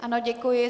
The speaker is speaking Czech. Ano, děkuji.